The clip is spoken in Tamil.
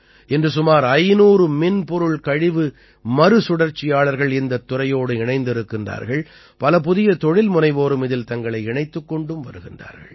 இன்று சுமார் 500 மின் பொருள் கழிவு மறுசுழற்சியாளர்கள் இந்தத் துறையோடு இணைந்திருக்கிறார்கள் பல புதிய தொழில்முனைவோரும் இதில் தங்களை இணைத்துக் கொண்டு வருகிறார்கள்